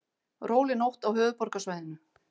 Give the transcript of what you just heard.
Róleg nótt á höfuðborgarsvæðinu